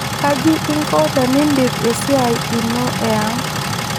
Kaji inko teniindip esiai ino eang' ?